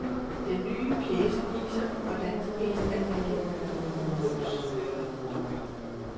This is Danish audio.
Den nye pjece viser, hvordan de mest almindelige ulykker undgås.